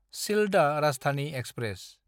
Sealdah Rajdhani express